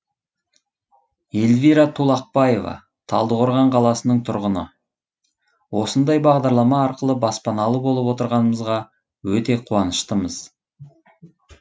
эльвира тулақбаева талдықорған қаласының тұрғыны осындай бағдарлама арқылы баспаналы болып отырғанымызға өте қуаныштымыз